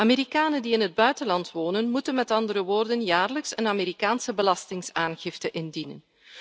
Amerikanen die in het buitenland wonen, moeten met andere woorden jaarlijks een Amerikaanse belastingaangifte indienen.